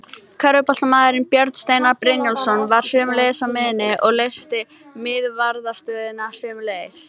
Körfuboltamaðurinn Björn Steinar Brynjólfsson var sömuleiðis á miðjunni og leysti miðvarðarstöðuna sömuleiðis.